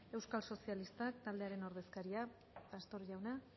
euskal sozialistak taldearen ordezkaria pastor jauna